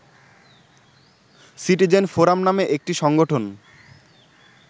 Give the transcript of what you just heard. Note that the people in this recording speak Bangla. সিটিজেন ফোরাম নামে একটি সংগঠন